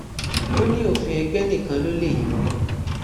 ó ní òfin ègbè nìkan ló lè yọ ọ